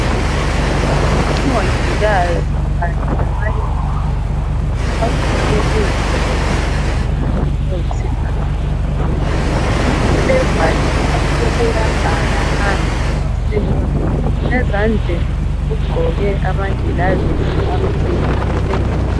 Umongikazi kanyem labanye bakhe ugqoke izigqoko ezilombala oyisibhakabhaka. Uyabhala phansi. Ezandleni, ugqoke amagilavidi, amhlophe nke!